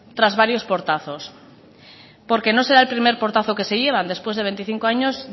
tras varios portazos porque no se da el primer portazo que se llevan después de veinticinco años